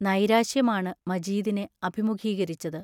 നൈരാശ്യമാണ് മജീദിനെ അഭിമുഖീകരിച്ചത്.